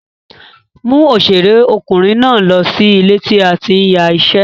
Mú òṣèré ọkùnrin náà lọ sí ilé tí a ti ń ya iṣẹ́.